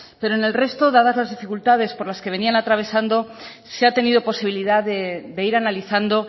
pero en el resto dadas las dificultades por las que venían atravesando se ha tenido posibilidad de ir analizando